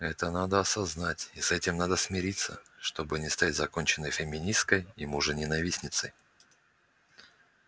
это надо осознать и с этим надо смириться чтобы не стать законченной феминисткой и мужененавистницей